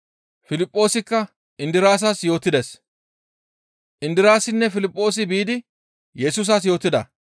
Piliphoosikka Indiraasas yootides. Indiraasinne Piliphoosi biidi Yesusas yootida.